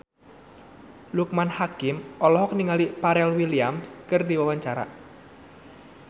Loekman Hakim olohok ningali Pharrell Williams keur diwawancara